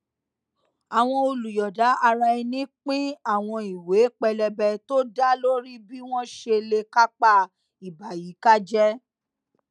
àwọn olùyòọda ara ẹni pín àwọn ìwé pélébé tó dá lórí bí wón ṣe lè kápá ìbàyíkájé